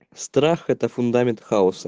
страх это фундамент хаоса